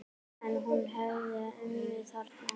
En hún hefði unnið þarna.